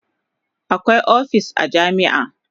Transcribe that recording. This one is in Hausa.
Akwai opis a jami'a